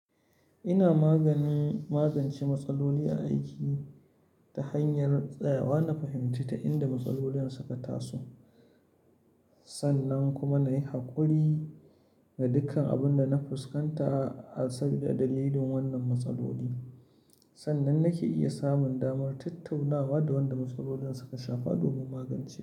Ina magani, magance matsaloli a aiki ta hanyar tsayawa na fahimta ta inda matsalolin suka taso, sannan kuma na yi haƙuri da dukkan abin da na fuskanta saboda dalilin wannan matsaloli, sannan nake iya samun damar tattaunawa da wanda matsalolin suka shafa domin magance.